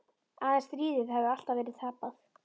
Að stríðið hafi alltaf verið tapað.